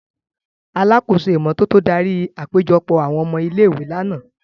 Alakoso imototo dari apejọpọ awọn ọmọ ile-iwe làná.